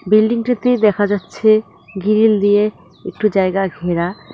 বিল্ডিংটিতে দেখা যাচ্ছে গিরিল দিয়ে একটু জায়গা ঘেরা।